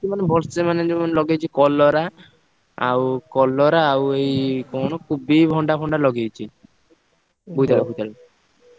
ମାନେ ଭଲସେ ମାନେ ଯୋଉ ମାନେ ଲଗେଇଛି କଲରା, ଆଉ କଲରା ଆଉ ଏଇ କୋବି ଭଣ୍ଡା ଫଣ୍ଡା ଲଗେଇଛି।